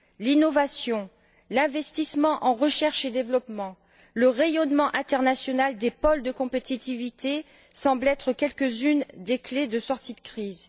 L'innovation, l'investissement dans la recherche et le développement, le rayonnement international des pôles de compétitivité semblent être quelques unes des clés de sortie de crise.